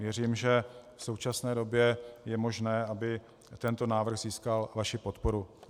Věřím, že v současné době je možné, aby tento návrh získal vaši podporu.